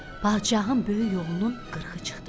Padşahın böyük oğlunun qırxı çıxdı.